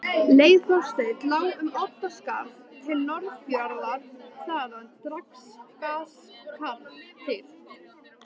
Leið Þorsteins lá um Oddsskarð til Norðfjarðar, þaðan Drangaskarð til